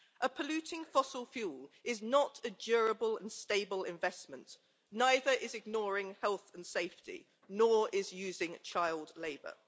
A polluting fossil fuel is not a durable and stable investment, neither is ignoring health and safety, nor is using child labour.